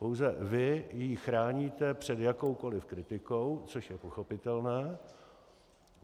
Pouze vy ji chráníte před jakoukoli kritikou, což je pochopitelné.